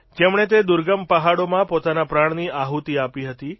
જેમણે તે દુર્ગમ પહાડોમાં પોતાના પ્રાણની આહૂતી આપી હતી